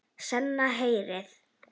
Senn heyrði